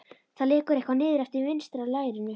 Það lekur eitthvað niður eftir vinstra lærinu.